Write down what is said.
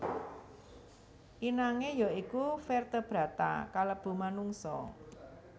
Inangé ya iku vertebrata kalebu manungsa